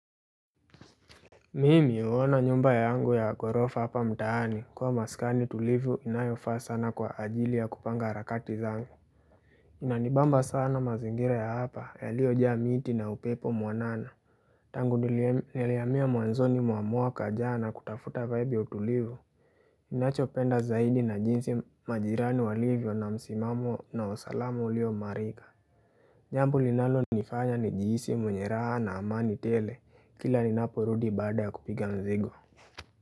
Mimi huona nyumba yangu ya ghorofa hapa mtaani kua maskani tulivu inayofaa sana kwa ajili ya kupanga harakati zangu. Inanibamba sana mazingira ya hapa yaliyojaa miti na upepo mwanana. Tangu nilhiamia mwanzoni mwa mwaka jana kutafuta vibe ya utulivu. Nachopenda zaidi na jinsi majirani walivyo na msimamo na usalama ulio imarika. Jambu linalonifanya nijihisi mwenye raha na amani tele kila ninapurudi baada kupiga mzigo.